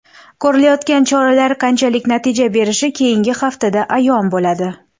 Ko‘rilayotgan choralar qanchalik natija berishi keyingi haftada ayon bo‘ladi”.